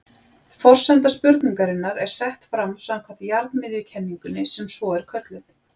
forsenda spurningarinnar er sett fram samkvæmt jarðmiðjukenningunni sem svo er kölluð